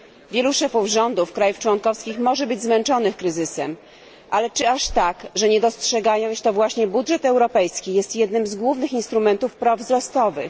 Wielu szefów rządów krajów członkowskich może być zmęczonych kryzysem, ale czy aż tak, że nie dostrzegają, iż to właśnie budżet europejski jest jednym z głównych instrumentów praw wzrostowych?